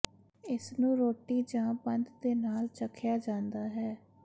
ਇਸਨੂੰ ਰੋਟੀ ਜਾਂ ਬੰਦ ਦੇ ਨਾਲ ਚਖਿਆ ਜਾਂਦਾ ਹੈ